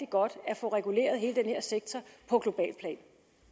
godt at få reguleret hele den her sektor på globalt plan